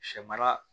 Sɛ mara